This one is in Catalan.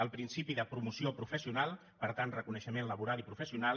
el principi de promoció professional per tant reconeixement laboral i professional